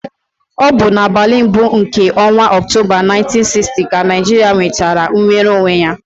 Ọ bụ n'abalị mbụ nke ọnwa Ọktoba 1960 ka Naijiria nwetara nnwere onwe ya.